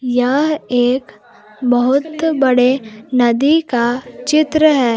यह एक बहुत बड़े नदी का चित्र है।